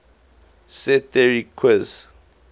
set theory zf